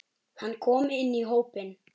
Hann kom inn í hópinn.